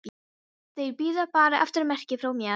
Þeir bíða bara eftir merki frá mér.